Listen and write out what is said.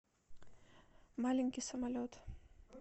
маленький самолет